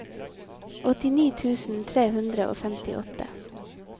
åttini tusen tre hundre og femtiåtte